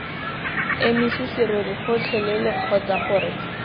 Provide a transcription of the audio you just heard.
emise serori gotlhelele kgotsa gore